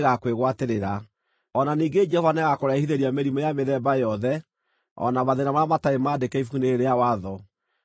O na ningĩ Jehova nĩagakũrehithĩria mĩrimũ ya mĩthemba yothe o na mathĩĩna marĩa matarĩ maandĩke Ibuku-inĩ rĩĩrĩ rĩa Watho, nginya ũniinwo.